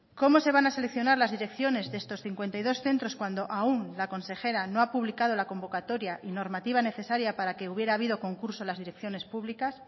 cómo se van a seleccionar las direcciones de estos cincuenta y dos centros cuando aun la consejera no ha publicado la convocatoria y normativa necesaria para que hubiera habido concurso en las direcciones públicas